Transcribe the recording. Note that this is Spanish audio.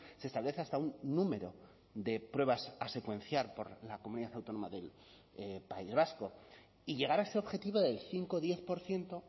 se establece hasta un número de pruebas a secuenciar por la comunidad autónoma del país vasco y llegar a ese objetivo del cinco diez por ciento